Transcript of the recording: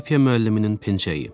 Coğrafiya müəlliminin pencəyi.